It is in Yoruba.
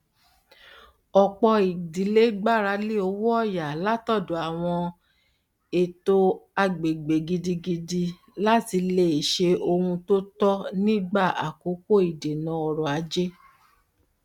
ọpọ ìdílé gbáralé owóọyà látọdọ àwọn eto àgbègbè gidigidi láti lè lè se ohun to tọ nígbà àkókò ìdènà ọrọ ajé